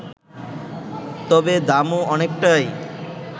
তবে দামও অনেকটাই